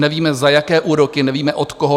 Nevíme, za jaké úroky, nevíme, od koho.